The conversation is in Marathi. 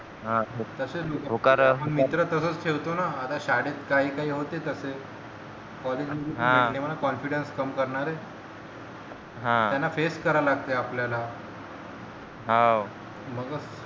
हा हो तसेच मित्र तसेच ठेवतो ना आता शाळेत काही काही होते तसे collage मध्ये भेटले मला confidence कम करणारे हा त्यांना face करा लागते आपल्याला हाव मंग